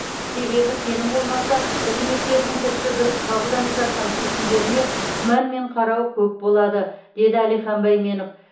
себебі сенім болмаса үкіметтердің тіпті дұрыс қабылданып жатқан шешімдеріне күмәнмен қарау көп болады деді әлихан байменов